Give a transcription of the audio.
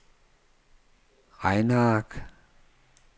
regneark